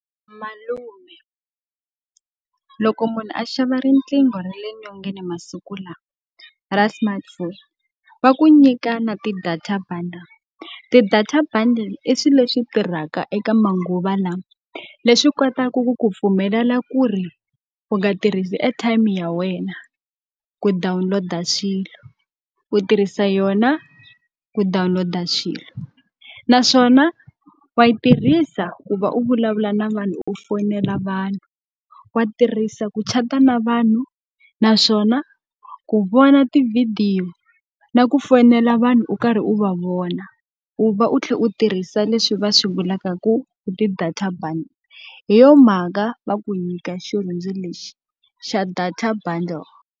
Malume loko munhu a xava riqingho ra le nyongeni masiku lawa ra smartphone, va ku nyika na ti-data bundle. Ti-data bundle i swilo leswi tirhaka eka manguva lawa, leswi kotaka ku ku pfumelela ku ri u nga tirhisi airtime ya wena ku download-a swilo. U tirhisa yona ku download-a swilo. Naswona wa yi tirhisa ku va u vulavula na vanhu u foyinela vanhu, wa tirhisa ku chat-a na vanhu, naswona ku vona tivhidiyo, na ku fonela vanhu u karhi u va vona. U va u tlhela u tirhisa leswi va swi vulaka ku ti-data bundles, hi yona mhaka va ku nyika xirhundzu lexi xa data bundle.